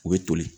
U bɛ toli